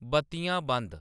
बत्तियां बंद